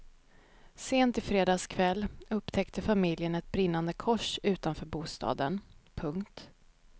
Sent i fredags kväll upptäckte familjen ett brinnande kors utanför bostaden. punkt